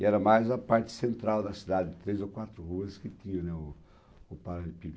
E era mais a parte central da cidade, três ou quatro ruas, que tinha, né, o o Paralelepípedo.